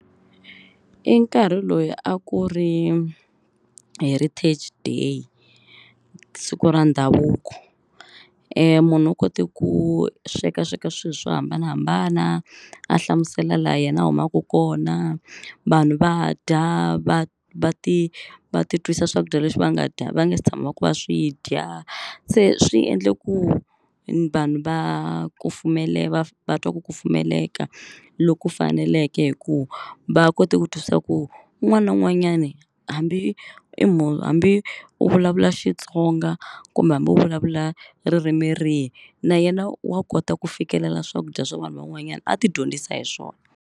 I nkarhi loyi a ku ri heritage day siku ra ndhavuko munhu u kote ku swekasweka swilo swo hambanahambana a hlamusela laha yena a humaka kona. Vanhu va dya va va ti va titwisa swakudya leswi va nga dya va nga se tshamaka va swi dya. Se swi endla ku vanhu va ku va va twa ku ku kufumeleka loku faneleke hi ku va kota ku twisisa ku un'wana na un'wanyani hambi i hambi u vulavula xlXitsonga kumbe hambi u vulavula ririmi rihi na yena wa kota ku fikelela swakudya swa vanhu van'wanyana a ti dyondzisa hi swona.